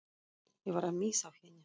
Ég var að missa af henni.